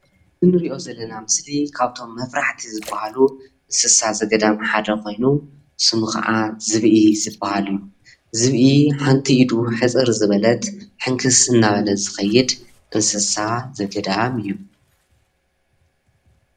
እዚ እንሪኦ ዘለና ምስሊ ካብቶም መፍራሕቲ ዝባሃሉ እንስሳ ዘገዳም ሓደ ኮይኑ ስሙ ክዓ ዝብኢ ዝብሃል እዩ፡፡ ዝብኢ ሓንቲ ኢዱ ሕፅር ዝበለት ሕንክስ እናበለ ዝከይድ እንስሳ ዘገዳም እዩ፡፡